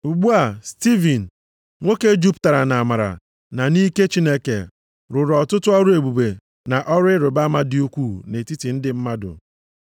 Ugbu a, Stivin, nwoke jupụtara nʼamara na nʼike Chineke rụrụ ọtụtụ ọrụ ebube na ọrụ ịrịbama dị ukwuu nʼetiti ndị mmadụ.